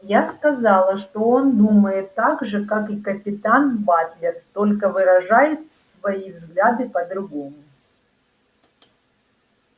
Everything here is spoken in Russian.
я сказала что он думает так же как и капитан батлер только выражает свои взгляды по-другому